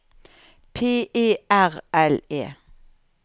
P E R L E